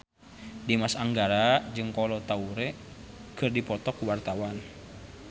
Dimas Anggara jeung Kolo Taure keur dipoto ku wartawan